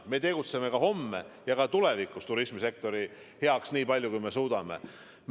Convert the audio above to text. Me tegutseme täna, homme ja kaugemaski tulevikus turismisektori heaks, me teeme nii palju, kui suudame.